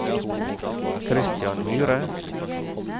Christian Myhre